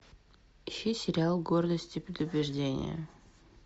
ищи сериал гордость и предубеждение